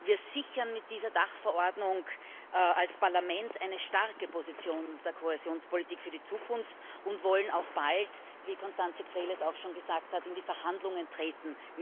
Wir sichern mit dieser Dachverordnung als Parlament eine starke Position der Kohäsionspolitik für die Zukunft und wollen auch bald wie Constanze Krehl es auch schon gesagt hat mit dem Rat in die Verhandlungen treten.